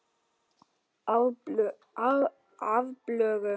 Af plöggum